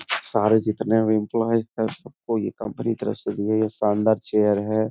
सारे जितने भी एम्प्लॉय हैं सबको ये कम्पनी तरफ़ से दी है ये शानदार चेयर है।